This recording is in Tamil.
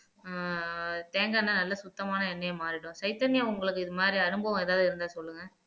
ஆஹ் தேங்காய் எண்ணெய் நல்ல சுத்தமான எண்ணெய்யா மாறிடும் சைதன்யா உங்களுக்கு இது மாதிரி அனுபவம் ஏதாவது இருந்தா சொல்லுங்க